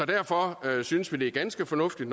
derfor synes vi det er ganske fornuftigt